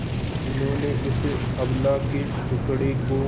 जिन्होंने उस अबला के दुखड़े को